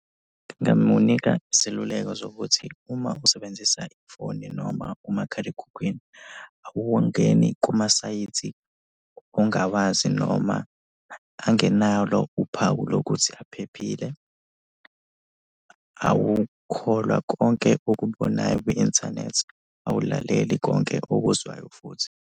Ngingamunika iseluleko zokuthi uma usebenzisa ifoni noma umakhalekhukhwini, awungeni kumasayithi ongawazi noma angenalo uphawu lokuthi aphephile, awukholwa konke okubonayo kwi-inthanethi, awulaleli konke okuzwayo futhi.